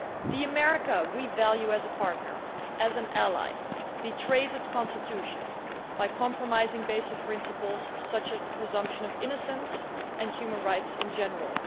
The America we value as a partner as an ally betrays its Constitution by compromising basic principles, such as the presumption of innocence, and human rights in general.